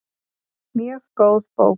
Mjög góð bók.